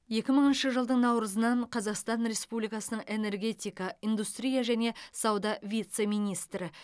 екі мыңыншы жылдың наурызынан қазақстан республикасының энергетика индустрия және сауда вице министрі